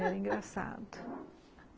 Era engraçado